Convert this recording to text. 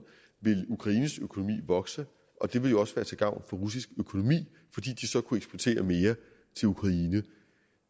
ville ukraines økonomi vokse og det ville jo også være til gavn for russisk økonomi fordi de så kunne eksportere mere til ukraine